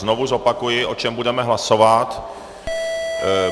Znovu zopakuji, o čem budeme hlasovat.